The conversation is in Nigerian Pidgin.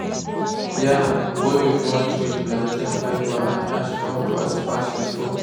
yam wey we mulch with plantain fibre and ash come fat pass before.